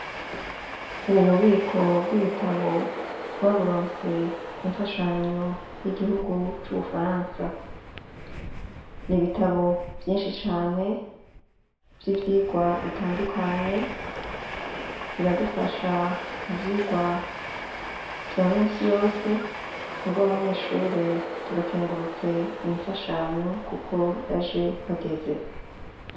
Ububiko bw'ibitabo twaburonse ku mfashanyo y'igihugu c'Ubufaransa. Ni ibitabo vyinshi cane vy'ivyirwa bitandukanye, biradufasha mu vyirwa vya minsi yose, twebw' abanyeshure turakengurutse iyi mfashanyo kuko yaje hageze.